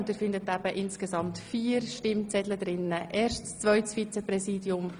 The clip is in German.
Wie gesagt finden Sie alle vier Wahlzettel zu den Traktanden 3 bis 5 darin.